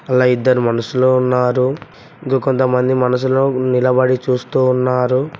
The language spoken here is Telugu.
అలా ఇద్దరు మనషులు ఉన్నారు దు కొంతమంది మనషులు నిలబడి చూస్తూ ఉన్నారు.